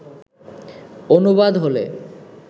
অনুবাদ হলে